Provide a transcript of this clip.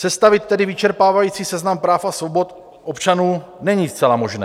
Sestavit tedy vyčerpávající seznam práv a svobod občanů není zcela možné.